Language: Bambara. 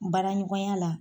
Baara ɲɔgɔnya la